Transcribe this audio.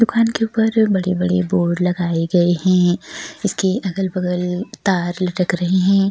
दुकान के घर बडे-बडे बॊर्ड लगाये गये हैं इसके अगल-बगल तार लटक रहे हैं।